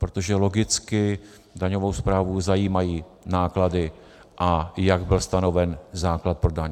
Protože logicky daňovou správu zajímají náklady, a jak byl stanoven základ pro daň.